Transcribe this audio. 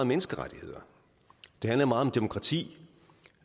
menneskerettigheder det handler meget om demokrati